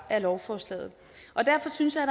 lovforslaget derfor synes jeg at